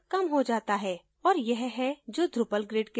और यह है जो drupal grid के साथ करता है